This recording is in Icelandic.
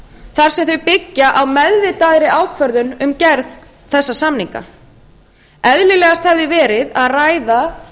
þar sem þau byggja á meðvitaðri ákvörðun um gerð þessara samninga eðlilegast hafi verið að ræða